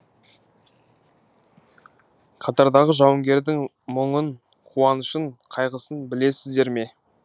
қатардағы жауынгердің мұңын қуанышын қайғысын білесіздер ме